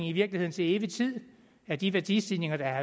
i virkeligheden til evig tid af de værdistigninger der